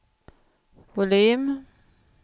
volym